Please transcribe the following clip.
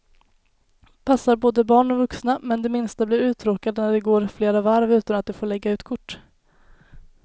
Passar både barn och vuxna, men de minsta blir uttråkade när det går flera varv utan att de får lägga ut kort.